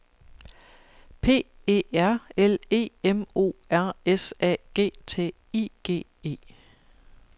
P E R L E M O R S A G T I G E